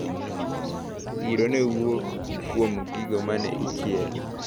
Iro newuok kuom gigo mane ichielo.